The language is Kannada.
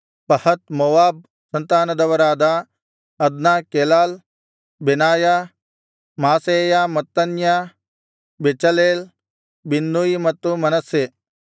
ಪಹತ್ ಮೋವಾಬ್ ಸಂತಾನದವರಾದ Adna Chelal Benaiah Maaseiah Mattaniah Bezalel Binnui ಮತ್ತು ಮನಸ್ಸೆ